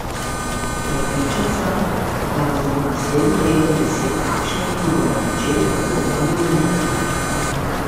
Prepričan sem, da nas bo naslednje leto deset takšnih, ki bomo počeli podobne neumnosti.